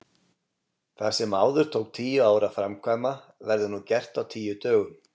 Það sem áður tók tíu ár að framkvæma verður nú gert á tíu dögum.